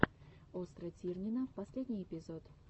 остра тирнина последний эпизод